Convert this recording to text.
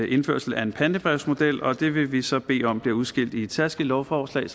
indførelse af en pantebrevsmodel og det vil vi så bede om bliver udskilt i et særskilt lovforslag